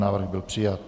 Návrh byl přijat.